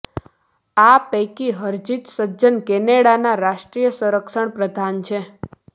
આ પૈકી હરજિત સજ્જન કેનેડાના રાષ્ટ્રીય સંરક્ષણ પ્રધાન છે